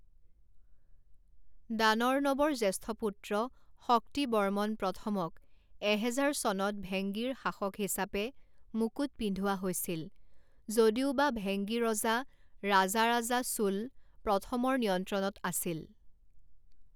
দানৰ্ণৱৰ জ্যেষ্ঠ পুত্ৰ শক্তিবৰ্মন প্ৰথমক এহেজাৰ চনত ভেংগীৰ শাসক হিচাপে মুকুট পিন্ধোৱা হৈছিল, যদিওবা ভেংগী ৰজা ৰাজাৰাজা চোল প্ৰথমৰ নিয়ন্ত্ৰণত আছিল।